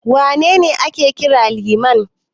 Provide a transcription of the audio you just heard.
Wane ne ake kira Liman?